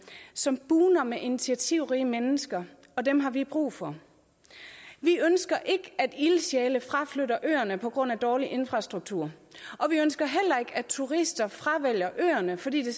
som bugner med initiativrige mennesker og dem har vi brug for vi ønsker ikke at ildsjæle fraflytter øerne på grund af dårlig infrastruktur og vi ønsker at turister fravælger øerne fordi det